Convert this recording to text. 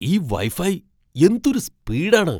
ഈ വൈഫൈ എന്തൊരു സ്പീഡ് ആണ്!